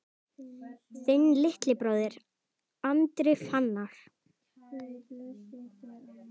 Þinn litli bróðir, Andri Fannar.